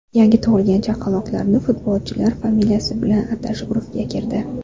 Yangi tug‘ilgan chaqaloqlarni futbolchilar familiyasi bilan atash urfga kirdi.